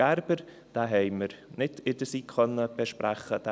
Gerber: Diesen haben wir in der SiK nicht besprechen können.